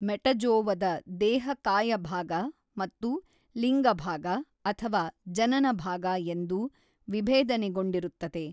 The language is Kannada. ಮೆಟಜೋವದ ದೇಹ ಕಾಯಭಾಗ ಮತ್ತು ಲಿಂಗಭಾಗ ಅಥವಾ ಜನನಭಾಗ ಎಂದು ವಿಭೇದನೆಗೊಂಡಿರುತ್ತದೆ.